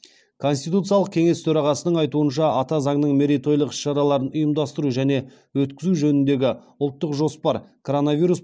конституциялық кеңес төрағасының айтуынша ата заңның мерейтойлық іс шараларын ұйымдастыру және өткізу жөніндегі ұлттық жоспар коронавирус